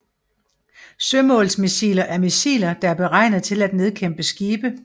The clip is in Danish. Sømålsmissiler er missiler der er beregnet til at nedkæmpe skibe